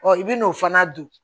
i bi n'o fana dun